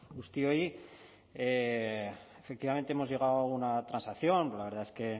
guztioi efectivamente hemos llegado a una transacción la verdad es que